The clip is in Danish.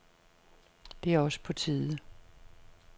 Det er også på tide.